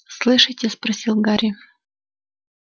слышите спросил гарри